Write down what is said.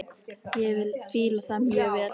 Ég fíla það mjög vel.